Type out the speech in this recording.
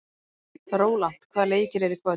Rólant, hvaða leikir eru í kvöld?